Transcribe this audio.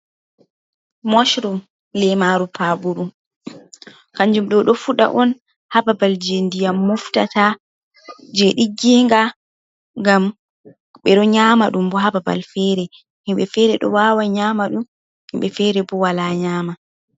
Moshrum lemaru paɓuru, kanjuum ɗo fuɗa on ha babal je ndiyam moftata je ɗigginga, ngam ɓe ɗo nyamaɗum bo ha babal fere, himbe fere ɗo wawa nyama ɗum himɓe fere bo wala nyama.